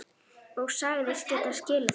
Og sagðist geta skilið það.